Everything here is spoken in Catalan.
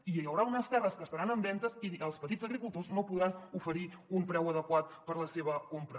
i hi haurà unes terres que estaran en venda i els petits agricultors no podran oferir un preu adequat per la seva compra